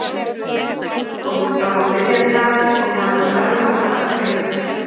Það var komið fram á miðjan dag og hann var örmagna af þreytu.